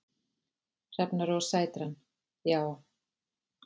Hrefna Rósa Sætran: Já.